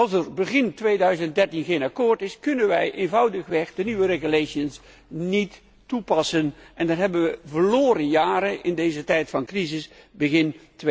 Als er begin 2013 geen akkoord is, kunnen wij eenvoudigweg de nieuwe verordeningen niet toepassen en dan hebben wij verloren jaren in deze tijd van crisis begin